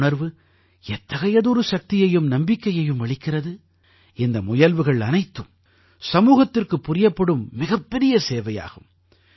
இந்த உணர்வு எத்தகையதொரு சக்தியையும் நம்பிக்கையையும் அளிக்கிறது இந்த முயல்வுகள் அனைத்தும் சமூகத்திற்குப் புரியப்படும் மிகப் பெரிய சேவையாகும்